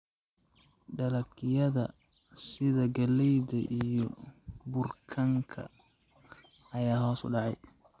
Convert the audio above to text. Dalagyada sida galleyda iyo burkanka ayaa hoos u dhacay.